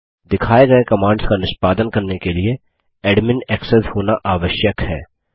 दिखाए गये कमांड्स का निष्पादन करने के लिए एडमिन एक्सेस होना आवश्यक है